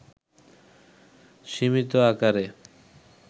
সীমিত আকারে